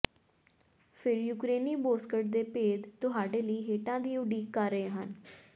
ਫਿਰ ਯੂਕਰੇਨੀ ਬੋਸਕਟ ਦੇ ਭੇਦ ਤੁਹਾਡੇ ਲਈ ਹੇਠਾਂ ਦੀ ਉਡੀਕ ਕਰ ਰਹੇ ਹਨ